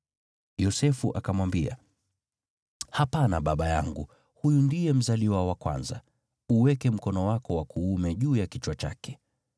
Yosefu akamwambia, “Hapana, baba yangu, huyu ndiye mzaliwa wa kwanza; uweke mkono wako wa kuume juu ya kichwa chake.”